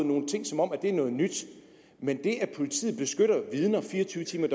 nogle ting som om det er noget nyt men det at politiet beskytter vidner fire og tyve timer i